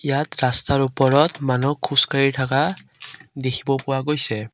ইয়াত ৰাস্তাৰ ওপৰত মানুহ খোজকাঢ়ি থকা দেখিব পোৱা গৈছে।